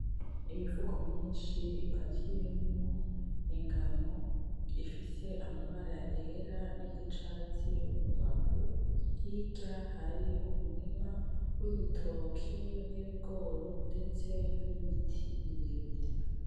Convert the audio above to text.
Imifuko myinshi ipakiyemwo ingano ifise amabara yera niryicatsi murubavu, hirya hari umurima w'ibitoki n'ibigori ndetse n'ibiti birebire.